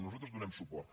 nosaltres hi donem suport